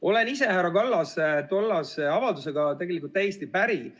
Olen härra Kallase tollase avaldusega täiesti päri.